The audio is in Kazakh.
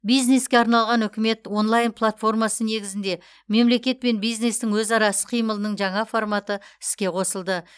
бизнеске арналған үкімет онлайн платформасы негізінде мемлекет пен бизнестің өзара іс қимылының жаңа форматы іске қосылды